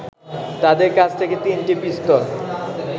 তাদের কাছ থেকে তিনটি পিস্তল